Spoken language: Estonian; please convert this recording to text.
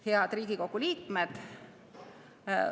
Head Riigikogu liikmed!